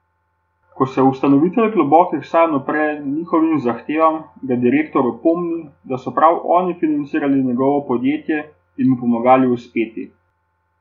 Ko se ustanovitelj globokih sanj upre njihovim zahtevam, ga direktor opomni, da so prav oni financirali njegovo podjetje in mu pomagali uspeti.